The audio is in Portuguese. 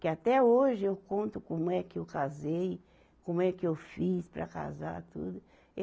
Que até hoje eu conto como é que eu casei, como é que eu fiz para casar, tudo.